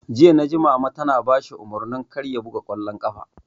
Jiya naji Mama tana bashi umarnin kar ya buga ƙwallon ƙafa!